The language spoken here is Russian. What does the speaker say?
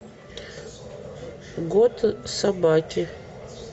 год собаки